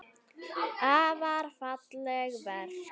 Afar falleg verk.